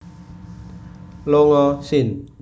longa sin